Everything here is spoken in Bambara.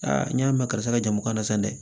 Aa n y'a mɛn karisa ka jamu ka na san dɛ